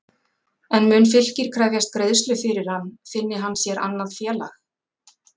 En mun Fylkir krefjast greiðslu fyrir hann finni hann sér annað félag?